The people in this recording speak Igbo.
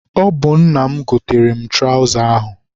Ọ bụ nna m goteere m traụza ahụ.